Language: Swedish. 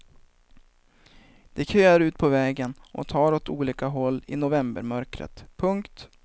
De köar ut på vägen och tar åt olika håll i novembermörkret. punkt